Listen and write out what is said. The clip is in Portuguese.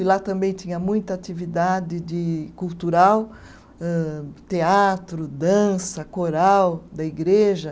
E lá também tinha muita atividade de cultural âh, teatro, dança, coral da igreja.